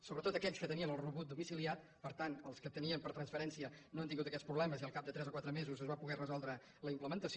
sobretot aquells que tenien el rebut domiciliat per tant els que el tenien per transferència no han tingut aquests problemes i al cap de tres o quatre mesos es va poder resoldre la implementació